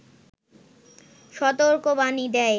সতর্কবাণী দেয়